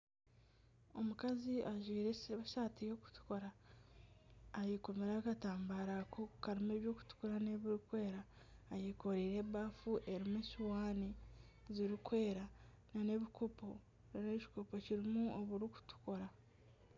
Omukazi ajwaire esaati y'okutukura ayekomire akatambara karimu eby'okutukura n'ebirikwera eyekoreire ebaafu erimu esuuwani zirikwera n'ebikopo harimu ekikopo kirimu oburikutukura.